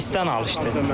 Presdən alışdı.